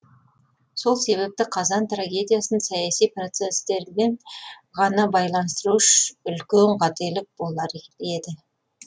сол себепті қазан трагедиясын саяси процестермен ғана байланыстыру үлкен қателік болар еді